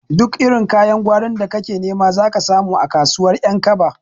Duk irin kayan gwarin da kake nema zaka samu a kasuwar ƴankaba